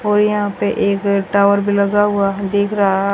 और यहां पे एक टावर भी लगा हुआ दिख रहा--